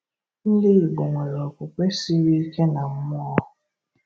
Ndị Igbo nwere okwukwe siri ike na mmụọ